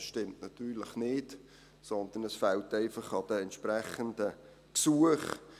Das stimmt natürlich nicht, sondern es fehlt einfach an den entsprechenden Gesuchen.